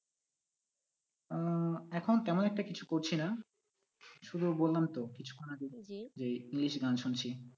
আহ এখন তেমন একটা কিছু করছি না শুধু বললাম তো কিছুক্ষণ আগে এই english গান শুনছি।